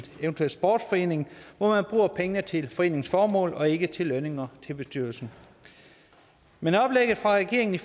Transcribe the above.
sportsforening hvor man bruger pengene til foreningens formål og ikke til lønninger til bestyrelsen men oplægget fra regeringen i